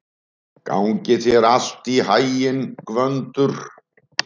Gangi þér allt í haginn, Gvöndur.